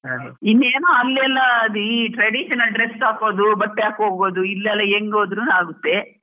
ಇನ್ನೇನೋ ಅಲ್ಲೆಲ್ಲಾ ಈ traditional dress ಹಾಕೋದ್ ಬಟ್ಟೆ ಹಾಕೋ ಹೋಗೋದ್, ಇಲ್ಲೆಲ್ಲ ಹೆಂಗ್ ಹೋದ್ರೂನು ಆಗುತ್ತೆ.